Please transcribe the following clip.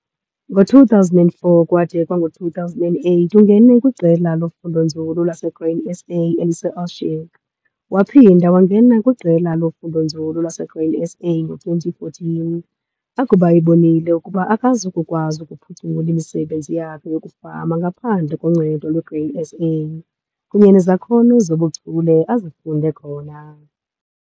Ngo-2004 kwade kwango-2008 ungene kwiqela lofundonzulu laseGrain SA eliseOshoek. Waphinda wangena kwiqela lofundonzulu laseGrain SA ngo-2014 akuba ebonile ukuba akazi kukwazi ukuphucula imisebenzi yakhe yokufama ngaphandle koncedo lweGrain SA kunye nezakhono zobuchule azifunde khona.